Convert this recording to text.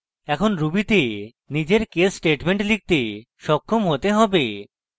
এখন ruby তে নিজের case statements লিখতে সক্ষম হতে হবে